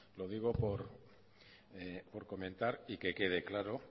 lo digo por comentar y que quede claro